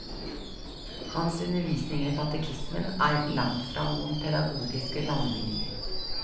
Hans undervisning i katekismen er langtfra noen pedagogiske landevinninger.